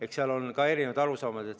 Eks seal ole ka erinevad arusaamad.